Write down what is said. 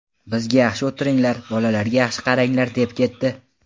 Bizga yaxshi o‘tiringlar, bolalarga yaxshi qaranglar deb ketdi.